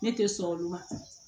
Ne tɛ sɔn olu ma